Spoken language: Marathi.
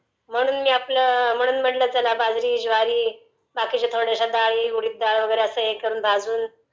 म्हणून मी आपलं..म्हणून म्हटलं चला बाजरी, ज्वारी, बाकीच्या थोड्या डाळी, उडीद डाळ असं वगैरे सगळं भाजून